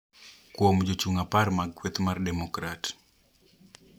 Kuon jochung` apar mag kweth mar Demokrat